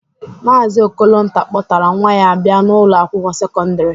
Maazi Okolonta kpọtara nwa ya bịa n'Ụlọ akwụkwọ sekọndrị.